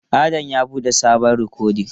Adam ya bude sabon rikodin.